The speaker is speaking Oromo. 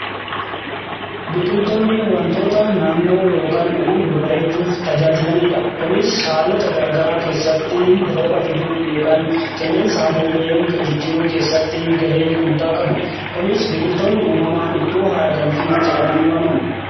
biqiltoonni wantoota naannoo yookaan uumama bareechuuf tajaajilaniidha. kunis haalota garagaraa keessatti rooba fiduuf yookaan qilleensa naannoo jijjiruu keessatti gahee guddaa qabu. kunis biqiltoonni uumamaan iddoo haara galfii jedhamanii waamamu.